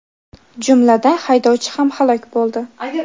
jumladan haydovchi ham halok bo‘ldi.